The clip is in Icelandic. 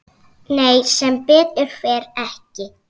Nei sem betur fer ekki.